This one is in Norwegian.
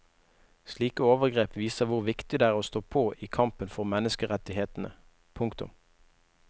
Slike overgrep viser hvor viktig det er å stå på i kampen for menneskerettighetene. punktum